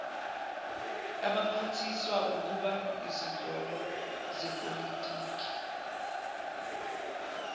abaphathiswaukuba izinhloko zepolitiki